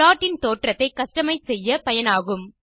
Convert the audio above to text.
plotஇன் தோற்றத்தை கஸ்டமைஸ் செய்ய பயனாகும்